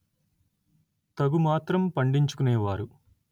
తగు మాత్రం పండించు కునే వారు